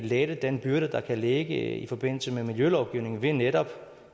lette den byrde der kan ligge i forbindelse med miljølovgivningen ved netop